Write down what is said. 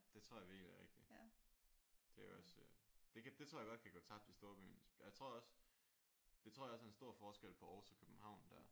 Det tror jeg virkelig er rigtigt. Det er også det kan det tror jeg også kan gå tabt i storbyen. Jeg tror også det tror jeg også er en stor forskel på Aarhus og København der